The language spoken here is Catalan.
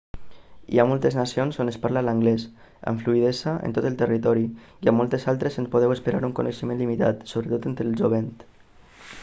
hi ha moltes nacions on es parla l'anglès amb fluïdesa en tot el territori i a moltes altres en podeu esperar un coneixement limitat sobretot entre el jovent